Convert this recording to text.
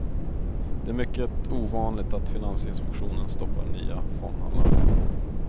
Det är mycket ovanligt att finansinspektionen stoppar nya fondhandlarfirmor.